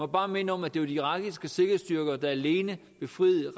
bare minde om at det var de irakiske sikkerhedsstyrker der alene befriede